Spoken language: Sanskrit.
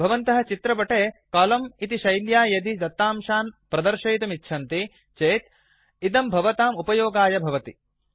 भवन्तः चित्रपटे कोलम्न इति शैल्या यदि दत्तांशान् प्रदर्शयितुम् इच्छन्ति चेत् इदं भवताम् उपयोगाय भवति